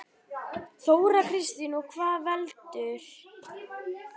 Þóra Kristín: Og hvað veldur?